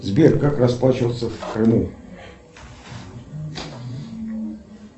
сбер как расплачиваться в крыму